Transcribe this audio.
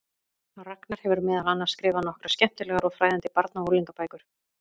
Ragnar hefur meðal annars skrifað nokkrar skemmtilegar og fræðandi barna- og unglingabækur.